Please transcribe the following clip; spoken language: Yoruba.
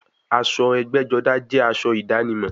Aṣọ ẹgbẹ́-jọdá jẹ́ aṣọ ìdánimọ̀.